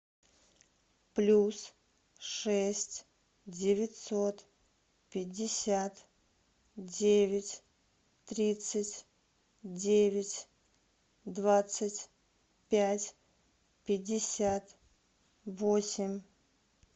плюс шесть девятьсот пятьдесят девять тридцать девять двадцать пять пятьдесят восемь